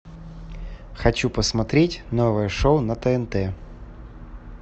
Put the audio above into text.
хочу посмотреть новое шоу на тнт